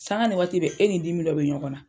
Sanga ni waati bɛ e ni dimi dɔ bɛ ɲɔgɔnna.